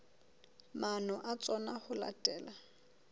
maano a tsona ho latela